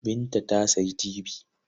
Binta ta sayi tibi.